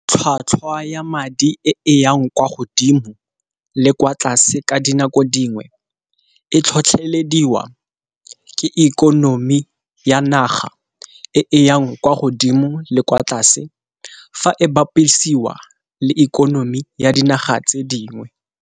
Tlhwatlhwa ya madi e yang kwa godimo le kwa tlase ka dinako dingwe, e tlhotlhelediwa ke ikonomi ya naga e yang kwa godimo le kwa tlase fa e bapisiwa le ikonomi ya dinaga tse dingwe.